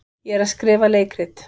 Ég er að skrifa leikrit.